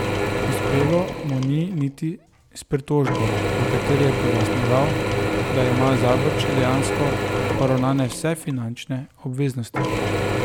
Uspelo mu ni niti s pritožbo, v kateri je pojasnjeval, da ima Zavrč dejansko poravnane vse finančne obveznosti.